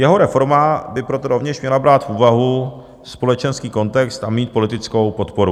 Jeho reforma by proto rovněž měla brát v úvahu společenský kontext a mít politickou podporu.